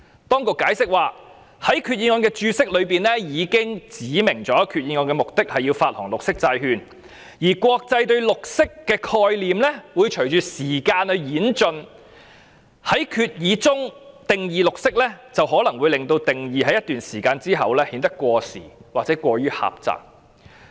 當局解釋指，在決議案的註釋中已指明決議案的目的是要發行綠色債券，而國際對綠色的概念會隨着時間而演進，在決議中定義綠色可能會令定義在一段時間後顯得過時或過於狹隘。